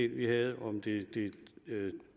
vi havde om det